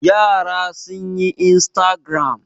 Yara sun yi instagram.